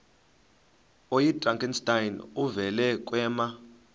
oyidrakenstein uvele kwema